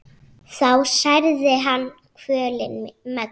þá særði hann kvölin megna.